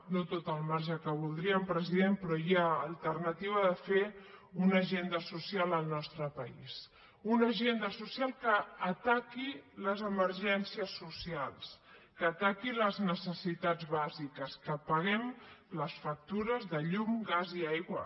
no tot el marge que voldríem president però hi ha alternativa de fer una agenda social al nostre país una agenda social que ataqui les emergències socials que ataqui les necessitats bàsiques que paguem les factures de llum gas i aigua